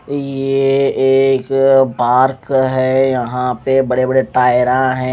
ये एक पार्क है यहाँ पे बड़े बड़े टाईय रा है।